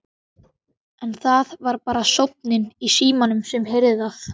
En það var bara sónninn í símanum sem heyrði það.